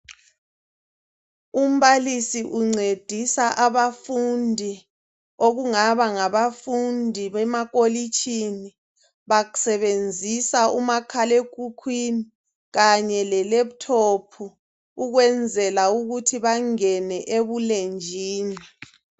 Umbalisi uncedisa abafundi, okungabangabafundi bemakolitshini, basebenzisa umakhal'ekhukhwini Kanye le laptop ukwenzela ukuthi bangene ebulenjini.